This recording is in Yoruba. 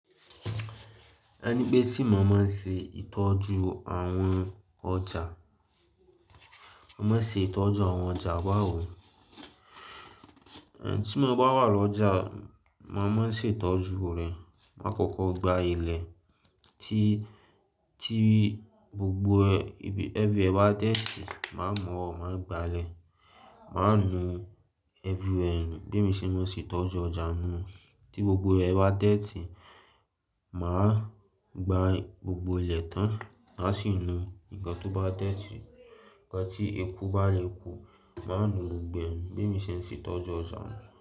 Ẹni pé sì mọ máa ń se ìtọ́jú àwọn ọjà. Mo máa ń ṣe ìtọ́jú àwọn ọjà ba wo? Ẹn, tí mo bá wà lọ́jà, màá máa ń se ìtọ́jú rẹ̀. Máa kókó gba ilẹ̀ tí, tí gbogbo ẹbí, everywhere bá dẹ́tí, màá mọ̀ ọ́n, màá gba lẹ̀. Màá nu everywhere nù. Bí emi ṣe máa ń ṣe ìtọ́jú ọjà nù. Tí gbogbo ẹ bá dẹ́tí, màá gba gbogbo ilẹ̀ tán. Má sì nu nǹkan tó bá dẹ́tí. Ǹkan tí eku bá leku, màá nu gbogbo ẹ̀. Bí mi ṣe ń ṣe ìtọ́jú ọjà nù.